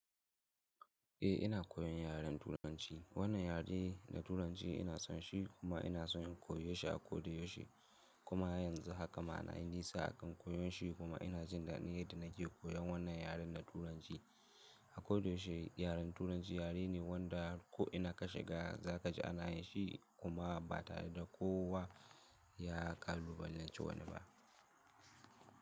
Eh ina koyan yaren Turanci. Wannan yare na Turanci ina son shi kuma ina son in koyo shi, a koyda shi kuma yanzu haka ma na yi nisa a kan koyon shi kuma ina jin daɗin yaada nake koyan wannan yaren na Turanci. A kodayaushe yaren Turanci yare ne wanda ko ina ka shiga za ka ji ana yin shi kuma ba tare da kowa ya kalubalance wani ba.